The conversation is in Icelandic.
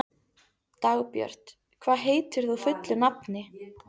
Dagbjört, hvað heitir þú fullu nafni?